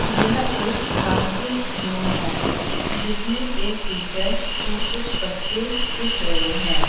यह एक dancing room हैं जिसमें एक टीचर्स और कुछ बच्चे दिख रहें हैं।